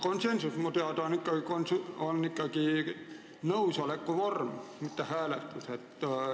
Konsensus on minu teada ikkagi nõusoleku vorm, mitte hääletus.